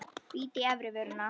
Bít í efri vörina.